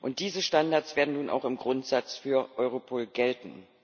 Und diese Standards werden nun auch im Grundsatz für Europol gelten.